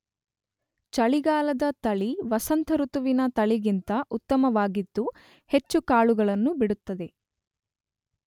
ಚಳಿಗಾಲದ ತಳಿ ವಸಂತ ಋತುವಿನ ತಳಿಗಿಂತ ಉತ್ತಮವಾಗಿದ್ದು ಹೆಚ್ಚು ಕಾಳುಗಳನ್ನು ಬಿಡುತ್ತದೆ.